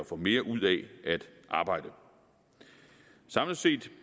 får mere ud af at arbejde samlet set